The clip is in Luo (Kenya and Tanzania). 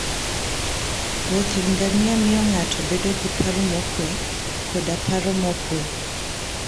wuothe ngamia miyo ng'ato bedo gi paro mokuwe koda paro mokuwe.